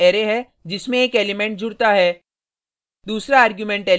पहला argument array है जिसमें एक एलिमेंट जुडता है